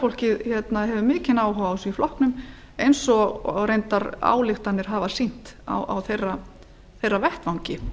fólkið hefur mikinn áhuga á því í flokknum eins og reyndar ályktanir hafa sýnt á þeirra vettvangi